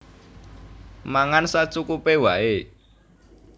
Mangan sacukupé waé